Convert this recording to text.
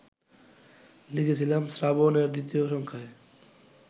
লিখেছিলাম শ্রাবণ-এর দ্বিতীয় সংখ্যায়